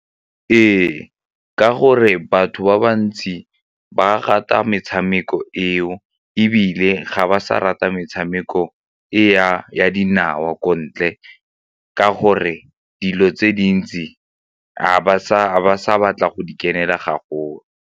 Ee, ka gore batho ba bantsi ba rata metshameko eo ebile ga ba sa rata metshameko e ya dinao ko ntle ka gore dilo tse dintsi ga ba sa ba sa batle go di kenela gagolo.